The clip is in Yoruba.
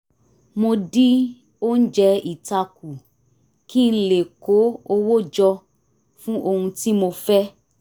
mo dín oúnjẹ ita kù kí n lè kó owó jọ fún ohun tí mo fẹ́